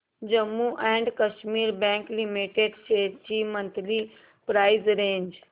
Jammu and Kashmir bank limited shares ची monthly price range